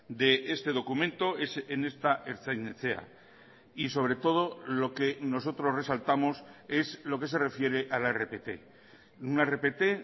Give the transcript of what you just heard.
de este documento es en esta ertzain etxea y sobre todo lo que nosotros resaltamos es lo que se refiere a la rpt una rpt